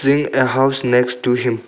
A house next to him.